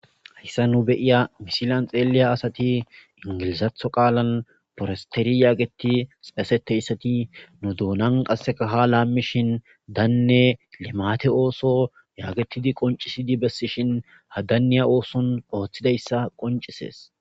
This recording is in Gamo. hayssa nu beyiya misilan xeeliya asati ingilizatho qaalan forosteri yaageti shesete issati nu duunan qassekaha laammishin daanne limate ooso yaagetidi qoncisidi bessishin hadanniya ooson ooththidayssa qoncisees